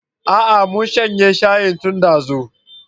Aa mun shanye shayin tun dazu